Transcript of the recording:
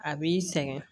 A b'i sɛgɛn